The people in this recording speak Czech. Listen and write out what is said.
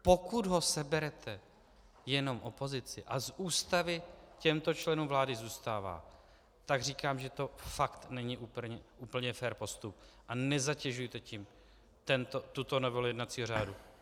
Pokud ho seberete jenom opozici a z Ústavy těmto členům vlády zůstává, tak říkám, že to fakt není úplně fér postup, a nezatěžujte tím tuto novelu jednacího řádu.